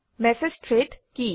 message thread কি